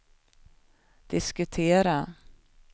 diskutera